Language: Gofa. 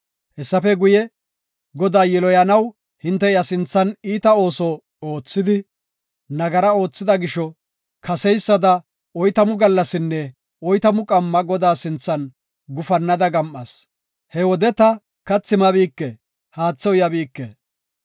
Hessafe guye, Godaa yiloyanaw hinte iya sinthan iita ooso oothidi, nagara oothida gisho, kaseysada oytamu gallasinne oytamu qamma Godaa sinthan gufannada gam7as; he wode ta kathi mabike; haathe uyabike.